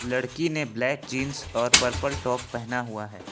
लड़की ने black jeans और पर्पल टॉप पहना हुआ है।